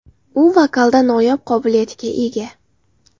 U vokalda noyob qobiliyatga ega.